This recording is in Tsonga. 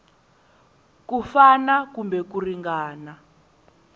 ku fana kumbe ku ringana